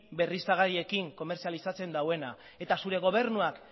berriztagarriekin komerzializatzen duena eta zure gobernuak